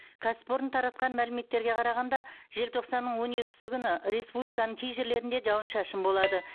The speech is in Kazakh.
кәсіпорын таратқан мәліметтерге қарағанда желтоқсанның он екісі күні республиканың кей жерлерінде жауын шашын болады